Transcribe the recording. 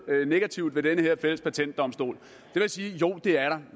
negativt ved den her fælles patentdomstol jeg vil sige at jo det er